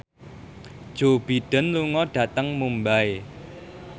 Joe Biden lunga dhateng Mumbai